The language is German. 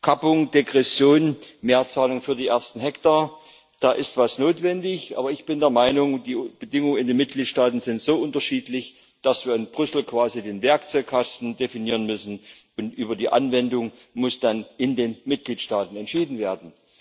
Kappung, Degression, Mehrzahlung für die ersten Hektar muss etwas getan werden. Aber ich bin der Meinung, die Bedingungen in den Mitgliedstaaten sind so unterschiedlich, dass wir in Brüssel quasi den Werkzeugkasten definieren müssen, und über die Anwendung muss dann in den Mitgliedstaaten entschieden werden.